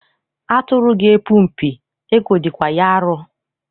Atụrụ ga-epu mpi, ekwo dịkwa ya arọ.